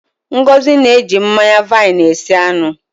Ngozi na-eji mmanya vaini esi anụ.